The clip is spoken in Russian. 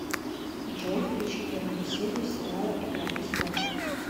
джой включи первую серию сериала игра престолов